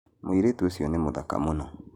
Mũirĩtu ũcio nĩ mũthaka mũno